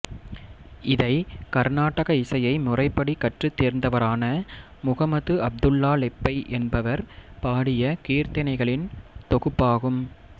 இதை கர்னாடக இசையை முறைப்படி கற்றுத் தேர்ந்தவரான முஹம்மது அப்துல்லா லெப்பை என்பவர் பாடிய கீர்த்தனைகளின் தொகுப்பாகும்